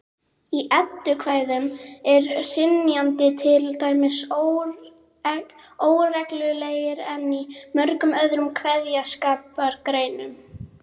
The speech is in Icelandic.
Í eddukvæðum er hrynjandi til dæmis óreglulegri en í mörgum öðrum kveðskapargreinum.